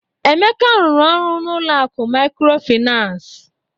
Emeka rụrụ ọrụ n'ụlọ akụ mikrofinas.